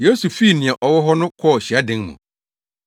Yesu fii nea ɔwɔ hɔ no kɔɔ hyiadan mu.